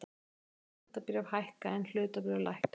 Skuldabréf hækka en hlutabréf lækka